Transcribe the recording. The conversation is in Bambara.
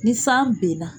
Ni san benna